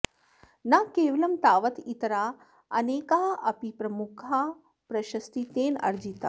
न केवलं तावत् इतराः अनेकाः अपि प्रमुखाः प्रशस्तीः तेन अर्जिताः